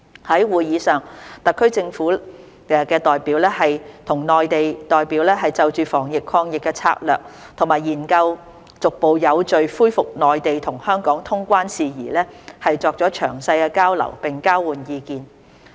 在會議上，特區政府的代表與內地代表就防疫抗疫策略及研究逐步有序恢復內地與香港通關事宜作詳細交流並交換意見。